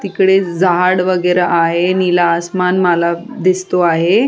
तिकडे झाड वगैरा आहे निळा आसमान मला दिसतो आहे.